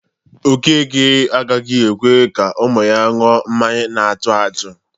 Okeke agaghị ekwe ka ụmụ ya ṅụọ mmanya na-atụ atụ